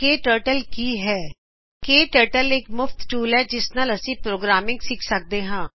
ਕੇ turtle ਕੀ ਹੈ KTurtle ਇਕ ਮੁਫ਼ਤ ਟੂਲ ਹੈ ਜਿਸ ਨਾਲ ਅਸੀ ਪ੍ਰੋਗਰਾਮਿੰਗ ਸਿੱਖ ਸਕਦੇ ਹਾਂ